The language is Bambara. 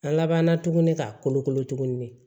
An labanna tuguni k'a kolokolo tuguni